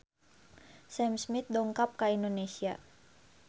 Sam Smith dongkap ka Indonesia